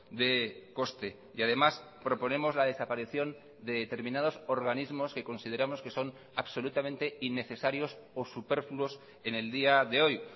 de coste y además proponemos la desaparición de determinados organismos que consideramos que son absolutamente innecesarios o superfluos en el día de hoy